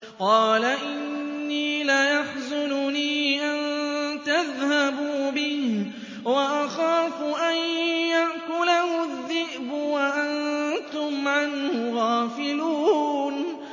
قَالَ إِنِّي لَيَحْزُنُنِي أَن تَذْهَبُوا بِهِ وَأَخَافُ أَن يَأْكُلَهُ الذِّئْبُ وَأَنتُمْ عَنْهُ غَافِلُونَ